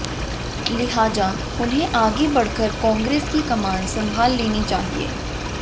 लिहाजा उन्हें आगे बढ़कर कांग्रेस की कमान संभाल लेनी चाहिए